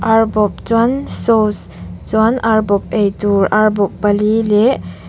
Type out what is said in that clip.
ar bawp chuan sauce chuan ar bawp ei tur ar bawp pali leh--